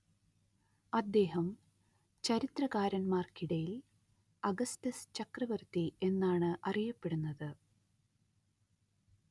അദ്ദേഹം ചരിത്രകാരന്മാർക്കിടയിൽ അഗസ്റ്റസ് ചക്രവർത്തി എന്നാണ് അറിയപ്പെടുന്നത്